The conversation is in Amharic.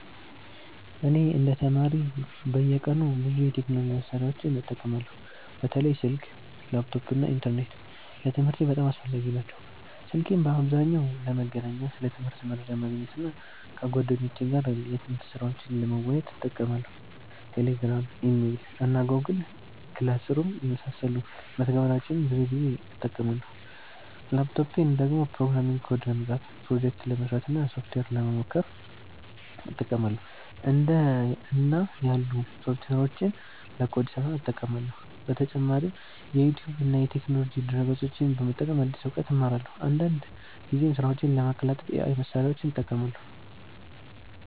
እኔ እንደ ተማሪ በየቀኑ ብዙ የቴክኖሎጂ መሳሪያዎችን እጠቀማለሁ። በተለይ ስልክ፣ ላፕቶፕ እና ኢንተርኔት ለትምህርቴ በጣም አስፈላጊ ናቸው። ስልኬን በአብዛኛው ለመገናኛ፣ ለትምህርት መረጃ ማግኘት እና ከጓደኞቼ ጋር የትምህርት ስራዎችን ለመወያየት እጠቀማለሁ። Telegram፣ Email እና Google Classroom የመሳሰሉ መተግበሪያዎችን ብዙ ጊዜ እጠቀማለሁ። ላፕቶፔን ደግሞ ፕሮግራሚንግ ኮድ ለመጻፍ፣ ፕሮጀክት ለመስራት እና ሶፍትዌር ለመሞከር እጠቀማለሁ። እንደ እና ያሉ ሶፍትዌሮችን ለኮድ ስራ እጠቀማለሁ። በተጨማሪም ዩቲዩብ እና የቴክኖሎጂ ድረ-ገጾችን በመጠቀም አዲስ እውቀት እማራለሁ። አንዳንድ ጊዜም ስራዎቼን ለማቀላጠፍ AI መሳሪያዎችን እጠቀማለሁ።